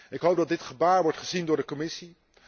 Ik hoop dat dit gebaar wordt gezien door de Commissie.